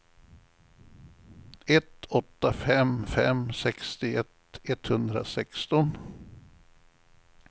ett åtta fem fem sextioett etthundrasexton